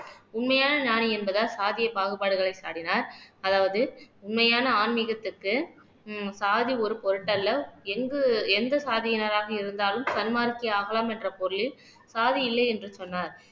உண்மையான ஞானி என்பதால் சாதிய பாகுபாடுகளை சாடினார் அதாவது உண்மையான ஆன்மீகத்துக்கு ஹம் சாதி ஒரு பொருட்டல்ல எங்கு எந்த சாதியினராக இருந்தாலும் சன்மார்க்க ஆகலாம் என்ற பொருளில் சாதி இல்லை என்று சொன்னார்